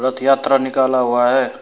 रथ यात्रा निकाला हुआ है।